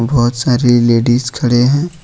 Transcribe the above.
बहुत सारी लेडिस खड़े हैं ।